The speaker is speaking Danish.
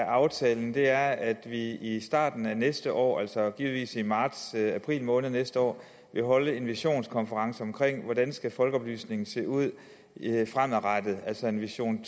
aftalen er at vi i starten af næste år altså givetvis i marts april måned næste år vil holde en visionskonference om hvordan folkeoplysningen skal se ud fremadrettet altså en vision